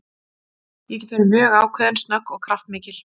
Ég get verið mjög ákveðin, snögg og kraftmikil.